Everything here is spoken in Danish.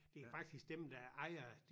Det er faktisk dem der ejer